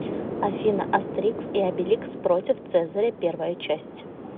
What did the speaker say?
афина астерикс и обеликс против цезаря первая часть